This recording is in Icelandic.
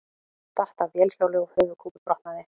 Datt af vélhjóli og höfuðkúpubrotnaði